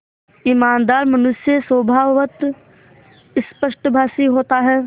ईमानदार मनुष्य स्वभावतः स्पष्टभाषी होता है